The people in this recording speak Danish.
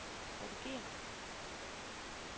redigér